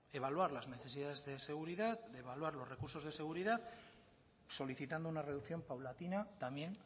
evaluar las necesidades de seguridad evaluar los recursos de seguridad solicitando una reducción paulatina también